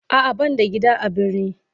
A'a ban da gida a birni.